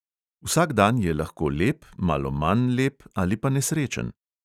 Vsak dan je lahko lep, malo manj lep ali pa nesrečen.